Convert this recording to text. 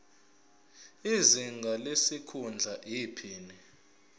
izinga lesikhundla iphini